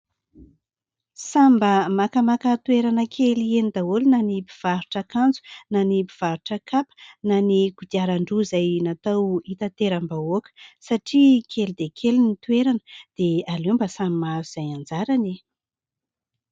Samy mba makamaka toerana kely eny daholo na ny mpivarotra akanjo na ny mpivarotra kapa ny ireo kodiarandroa izay natao hitateram-bahoaka satria kely dia kely ny toerana dia aleo mba samy mahazo izay anjarany e.